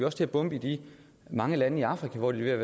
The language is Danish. også til at bombe i de mange lande i afrika hvor de er